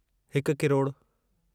हिकु किरोड़ु